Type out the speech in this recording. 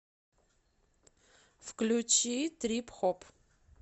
включи трип хоп